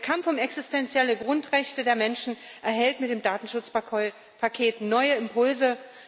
Der Kampf um existenzielle Grundrechte der Menschen erhält mit dem Datenschutzpaket neue Impulse.